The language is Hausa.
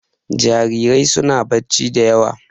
Jarirai suna barci da yawa.